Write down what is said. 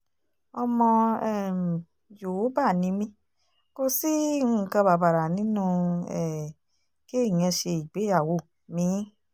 ọmọ um yòówbà ni mí kò sí nǹkan bàbàrà nínú um kéèyàn ṣe ìgbéyàwó mi-ín